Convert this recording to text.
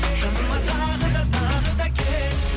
жаныма тағы да тағы да кел